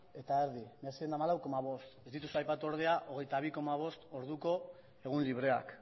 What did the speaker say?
eta erdi mila seiehun eta hamalau koma bost ez dituzu aipatu ordea hogeita bi koma bost orduko egun libreak